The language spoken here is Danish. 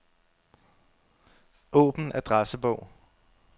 Åbn adressebog.